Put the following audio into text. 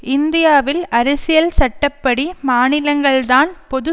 இந்தியாவின் அரசியல் சட்ட படி மாநிலங்கள்தான் பொது